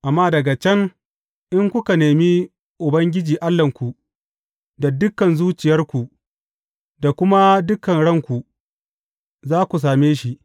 Amma daga can in kuka nemi Ubangiji Allahnku, da dukan zuciyarku da kuma dukan ranku, za ku same shi.